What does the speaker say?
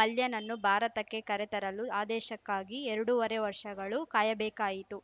ಮಲ್ಯನನ್ನು ಭಾರತಕ್ಕೆ ಕರೆತರಳು ಆದೇಶಕ್ಕಾಗಿ ಎರಡೂವರೆ ವರ್ಷಗಳು ಕಾಯಬೇಕಾಯಿತು